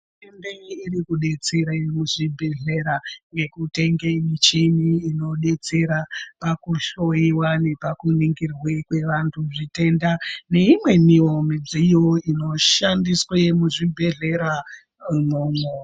Hurumende irikudetsera muzvibhedhlera nekutenge michini inodetsera pakuhloyiwa nepakuningirwe kwevantu zvitenda neimwewo midziyo inoshandiswe nemuzvibhrdhlera imomo.